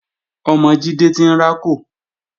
Ọmọ Jídé ti ń rákò